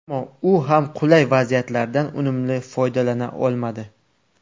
Ammo u ham qulay vaziyatlardan unumli foydalana olmadi.